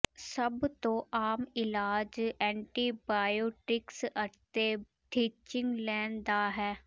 ਸਭ ਤੋਂ ਆਮ ਇਲਾਜ ਐਂਟੀਬਾਇਓਟਿਕਸ ਅਤੇ ਥੀਚਿੰਗ ਲੈਣ ਦਾ ਹੈ